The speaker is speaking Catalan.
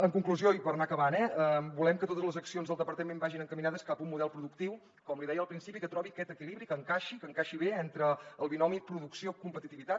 en conclusió i per anar acabant eh volem que totes les accions del departament vagin encaminades cap a un model productiu com li deia al principi que trobi aquest equilibri que encaixi que encaixi bé entre el binomi producció competitivitat